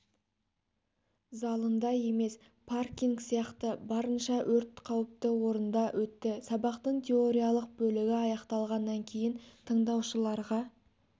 залында емес паркинг сияқты барынша өрт қауіпті орында өтті сабақтың теориялық бөлігі аяқталғаннан кейін тыңдаушыларға